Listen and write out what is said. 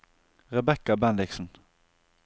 Rebecca Bendiksen